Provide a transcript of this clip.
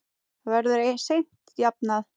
Það verður seint jafnað.